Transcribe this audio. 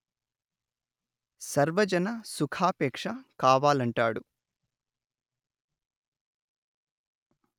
సర్వజన సుఖాపేక్ష కావాలంటాడు